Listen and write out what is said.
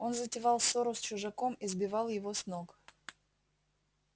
он затевал ссору с чужаком и сбивал его с ног